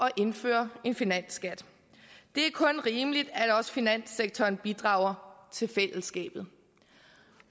at indføre en finansskat det er kun rimeligt at også finanssektoren bidrager til fællesskabet